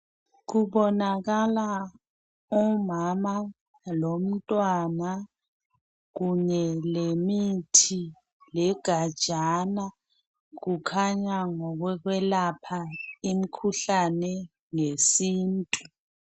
Kubonakala umama lomntwana kunye lemithi legajana kukhanya ngokokwelapha imikhuhlane ngesintu.